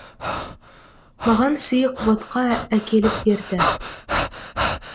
маған сұйық ботқа әкеліп берді